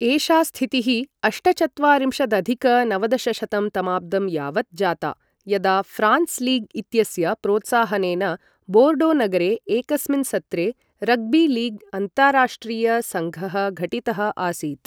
एषा स्थितिः अष्टचत्वारिंशदधिक नवदशशतं तमाब्दं यावत् जाता, यदा फ्रांस् लीग् इत्यस्य प्रोत्साहनेन बोर्डो नगरे एकस्मिन् सत्रे रग्बी लीग् अन्ताराष्ट्रिय सङ्घः घटितः आसीत्।